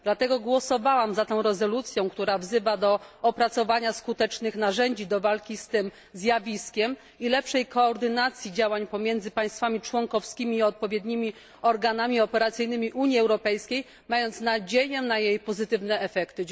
Dlatego głosowałam za tą rezolucją, która wzywa do opracowania skutecznych narzędzi do walki z tym zjawiskiem i lepszej koordynacji działań pomiędzy państwami członkowskimi i odpowiednimi organami operacyjnymi Unii Europejskiej, mając nadzieję na jej pozytywne efekty.